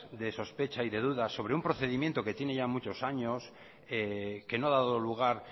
de sospecha y de dudas sobre un procedimiento que tiene ya muchos años que no ha dado lugar